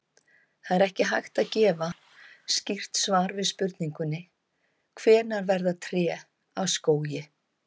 Það er ekki hægt að gefa skýrt svar við spurningunni hvenær verða tré að skógi.